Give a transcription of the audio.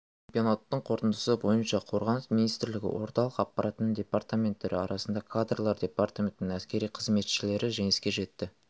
чемпионаттың қорытындысы бойынша қорғаныс министрлігі орталық аппаратының департаменттері арасында кадрлар департаментінің әскери қызметшілері жеңіске жетті